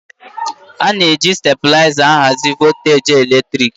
A na-eji stabilaịza ahazi volteji eletrik.